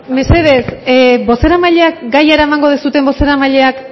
mesedez bozeramaileak gaia eramango duzuen bozeramaileak